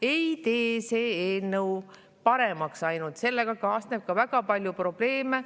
Ei tee see eelnõu ainult paremaks, sellega kaasneb ka väga palju probleeme.